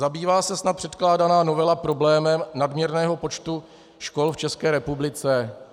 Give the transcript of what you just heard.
- Zabývá se snad předkládaná novela problémem nadměrného počtu škol v České republice?